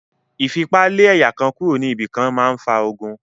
Ìfipa lé ẹ̀yà kan kúro ní ibi kan máa fa ogun.